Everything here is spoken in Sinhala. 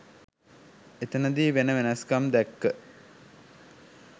එතනදි වෙන වෙනස්කම් දැක්ක